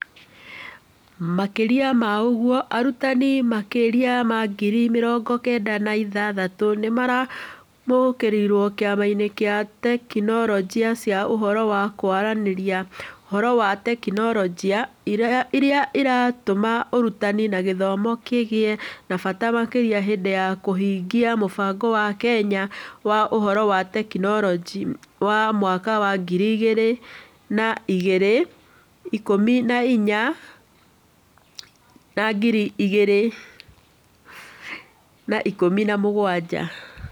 Makĩria ma ũguo, arutani makĩria ma ngiri mĩrongo kenda na ithatũ nĩ maramũkĩrĩĩtwo Kĩama kĩa Tekinoronjĩ cia ũhoro wa kũaranĩrĩa (Ũhoro na Teknoroji) iria itũmaga ũrutani na gĩthomo kĩgĩe na bata makĩria hĩndĩ ya kũhingia mũbango wa Kenya wa Ũhoro na Teknoroji wa mwaka wa ngiri igĩrĩ na ikũmi na inya na ngiri igĩrĩ na ikũmi na mũgwanja.